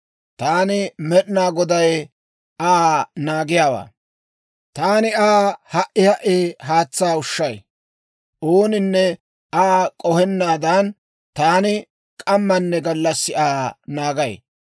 Taani, Med'inaa Goday Aa naagiyaawaa; taani Aa ha"i ha"i haatsaa ushshay; ooninne Aa k'ohennaadan, taani k'amanne gallassi Aa naagay.